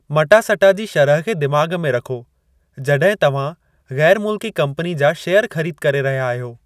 मटा सटा जी शरह खे दिमाग़ में रखो जॾहिं तव्हां ग़ैर मुल्की कम्पनी जा शेयर ख़रीद करे रहिया आहियो।